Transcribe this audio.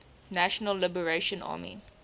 national liberation army